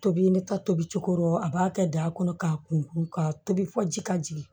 Tobi ne ka tobi cogo dɔ a b'a kɛ da kɔnɔ k'a kun ka tobi fɔ ji ka jigin